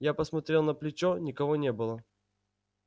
я посмотрел на плечо никого не было